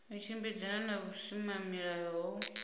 u tshimbidzana na vhusimamilayo ho